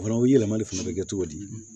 Fana u ye yɛlɛmali fana bɛ kɛ cogo di